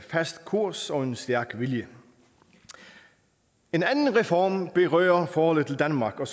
fast kurs og en stærk vilje en anden reform berører forholdet til danmark og